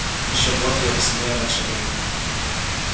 ещё год и я поседею раньше времени